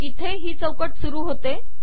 इथे ही चौकट सुरू होते